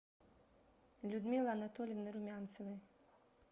людмилы анатольевны румянцевой